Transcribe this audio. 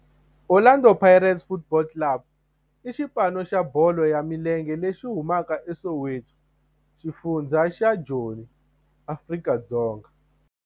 Orlando Pirates Football Club i xipano xa bolo ya milenge lexi humaka eSoweto, xifundzha xa Joni, Afrika-Dzonga.